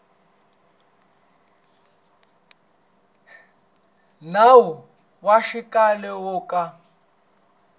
nawu wa xikhale wo ka